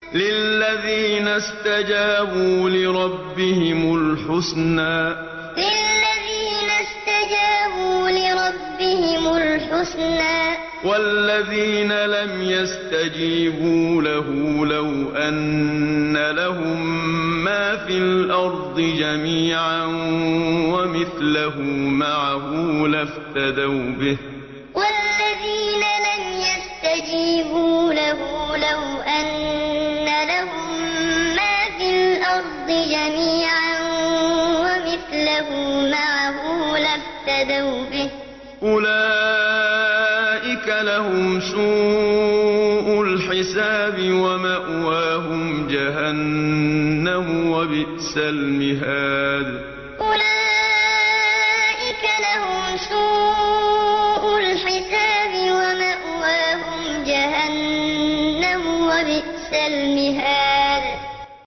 لِلَّذِينَ اسْتَجَابُوا لِرَبِّهِمُ الْحُسْنَىٰ ۚ وَالَّذِينَ لَمْ يَسْتَجِيبُوا لَهُ لَوْ أَنَّ لَهُم مَّا فِي الْأَرْضِ جَمِيعًا وَمِثْلَهُ مَعَهُ لَافْتَدَوْا بِهِ ۚ أُولَٰئِكَ لَهُمْ سُوءُ الْحِسَابِ وَمَأْوَاهُمْ جَهَنَّمُ ۖ وَبِئْسَ الْمِهَادُ لِلَّذِينَ اسْتَجَابُوا لِرَبِّهِمُ الْحُسْنَىٰ ۚ وَالَّذِينَ لَمْ يَسْتَجِيبُوا لَهُ لَوْ أَنَّ لَهُم مَّا فِي الْأَرْضِ جَمِيعًا وَمِثْلَهُ مَعَهُ لَافْتَدَوْا بِهِ ۚ أُولَٰئِكَ لَهُمْ سُوءُ الْحِسَابِ وَمَأْوَاهُمْ جَهَنَّمُ ۖ وَبِئْسَ الْمِهَادُ